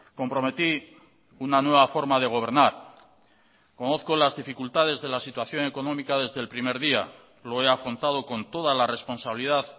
comprometí una nueva forma de gobernar conozco las dificultades de la situación económica desde el primer día lo he afrontado con toda la responsabilidad